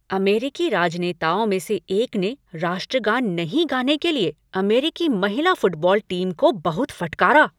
अमेरिकी राजनेताओं में से एक ने राष्ट्रगान नहीं गाने के लिए अमेरिकी महिला फुटबॉल टीम को बहुत फटकारा।